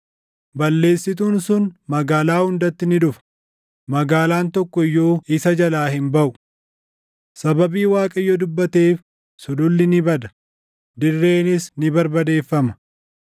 Balleessituun sun magaalaa hundatti ni dhufa; magaalaan tokko iyyuu isa jalaa hin baʼu. Sababii Waaqayyo dubbateef sululli ni bada; dirreenis ni barbadeeffama.